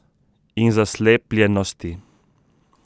In zaslepljenosti.